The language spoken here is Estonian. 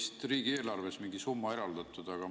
Ja ka riigieelarves oli vist mingi summa eraldatud?